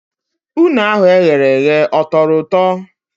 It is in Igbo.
Une ahụ eghereghe ọ tọrọ ụtọ?